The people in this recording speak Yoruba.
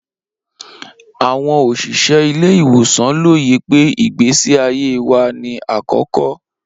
Awọn oṣiṣẹ ile-iwosan loye pe igbesi aye wa ni akọkọ.